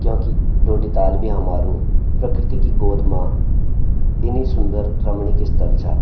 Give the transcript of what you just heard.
क्योंकि डोडिताल भी हमारू प्रकृति की गोद मा इनी सुदर रमणीक स्थल चा।